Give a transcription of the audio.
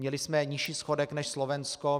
Měli jsme nižší schodek než Slovensko.